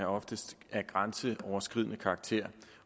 oftest af grænseoverskridende karakter